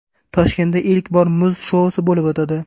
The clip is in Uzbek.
Toshkentda ilk bor muz shousi bo‘lib o‘tadi.